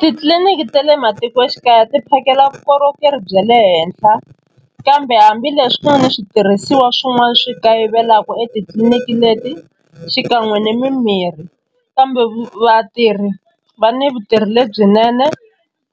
Titliliniki ta le matikoxikaya ti phakela vukorhokeri bya le henhla kambe hambileswi ku va ni switirhisiwa swin'wana swi kayivelaka etitliliniki leti xi ka kan'we ni mimirhi kambe vatirhi va ni vutirhi lebyinene